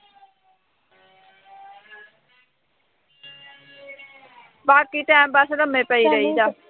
ਬਾਕੀ time pass ਲੰਮੇ ਪਏ ਰਹੀ ਦਾ